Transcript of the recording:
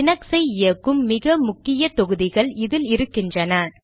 Linux ஐ இயக்கும் மிக முக்கிய தொகுதிகள் இதில் இருக்கின்றன